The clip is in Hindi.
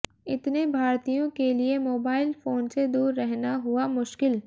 इतने भारतीयों के लिए मोबाइल फोन से दूर रहना हुआ मुश्किल